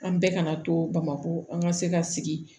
An bɛɛ kana to bamakɔ an ka se ka sigi